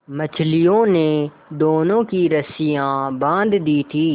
मछलियों ने दोनों की रस्सियाँ बाँध दी थीं